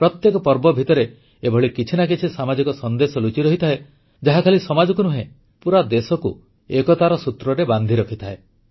ପ୍ରତ୍ୟେକ ପର୍ବ ଭିତରେ ଏଭଳି କିଛି ନା କିଛି ସାମାଜିକ ସନ୍ଦେଶ ଲୁଚିରହିଥାଏ ଯାହା ଖାଲି ସମାଜକୁ ନୁହେଁ ପୁରା ଦେଶକୁ ଏକତାର ସୂତ୍ରରେ ବାନ୍ଧିରଖିଥାଏ